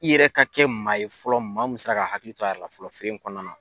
I yɛrɛ ka kɛ maa ye fɔlɔ ,maa mun sela ka hakili to a yɛrɛ la fɔlɔ feere in kɔnɔna na.